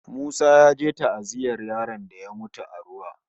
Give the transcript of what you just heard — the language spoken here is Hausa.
Musa ya je ta'aziyyar yaron da ya mutu a ruwa